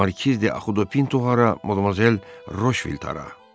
Markiz de Xudo Pinto hara, Modmazel Roşvild hara?